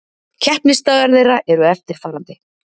Keppnisdagar þeirra eru eftirfarandi